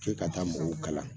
K'e ka taa mɔgɔw kalan